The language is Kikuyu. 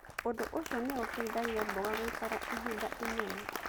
Ũndũ ũcio nĩ ũteithagia mboga gũikara ihinda inene.